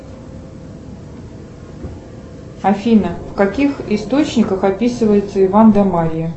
афина в каких источниках описывается иван да марья